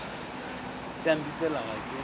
se a mpipela ga ke